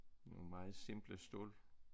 Nogle meget simple stole